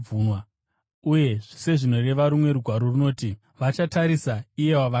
uye sezvinoreva rumwe Rugwaro runoti, “Vachatarisa iye wavakabaya.”